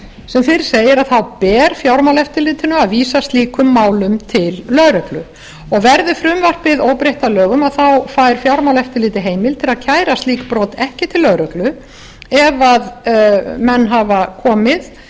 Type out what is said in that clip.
sem fyrr segir ber fjármálaeftirlitinu að vísa slíkum málum til lögreglu og verði frumvarpið óbreytt að lögum fær fjármálaeftirlitið heimild til að kæra slík brot ekki til lögreglu ef menn auka komið